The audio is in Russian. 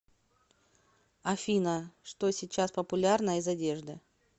афина что сейчас популярно из одежды